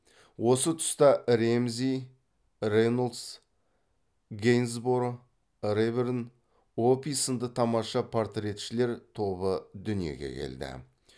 осы тұста рэмзи рейнолдс гейнсборо реберн опи сынды тамаша портретшілер тобы дүниеге келді